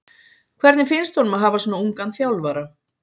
Hvernig finnst honum að hafa svona ungan þjálfara?